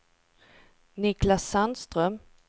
Niclas Sandström